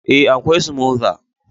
eh, akwai smother